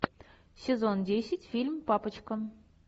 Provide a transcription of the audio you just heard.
сезон десять фильм папочка